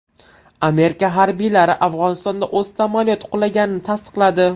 Amerika harbiylari Afg‘onistonda o‘z samolyoti qulaganini tasdiqladi.